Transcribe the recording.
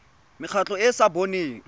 mekgatlho e e sa boneng